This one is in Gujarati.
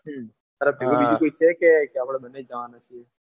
હમ તાર ભેગુ બીજું કોઈ છે કે આપણે બંને જવાના છીએ.